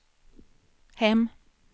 hem